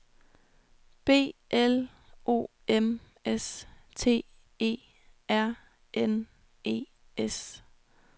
B L O M S T E R N E S